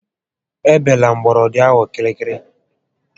E bela gbọrọndị ahụ kịrịkịrị